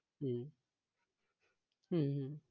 হম হম হম